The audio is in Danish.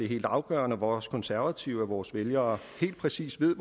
helt afgørende for os konservative at vores vælgere helt præcist ved